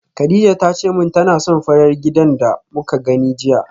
Kadija tace min tana son farar gidan da muka gani jiya